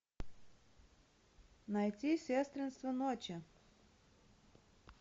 найти сестринство ночи